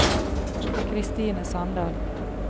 Kristine Sandal